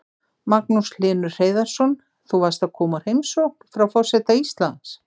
Magnús Hlynur Hreiðarsson: Þú varst að koma úr heimsókn frá forseta Íslands?